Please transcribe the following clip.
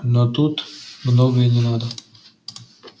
но тут многого и не надо